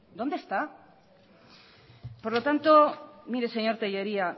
dónde está por lo tanto mire señor tellería